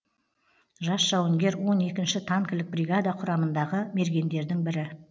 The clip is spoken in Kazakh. жас жауынгер он екінші танкілік бригада құрамындағы мергендердің бірі